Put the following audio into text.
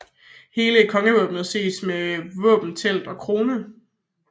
Hele kongevåbenet ses med våbentelt og krone